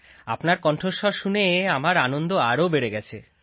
আপনার কন্ঠস্বর শুনে আমার আনন্দ আরও বেড়ে গেছে